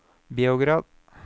Beograd